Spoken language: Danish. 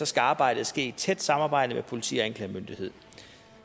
skal arbejdet ske i tæt samarbejde med politi og anklagemyndighed